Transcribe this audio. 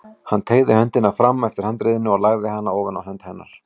Hann teygði höndina fram eftir handriðinu og lagði hana ofan á hönd hennar.